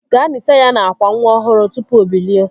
Gaa nisa ya n'akwa nwa ọhụrụ tụpụ o bilie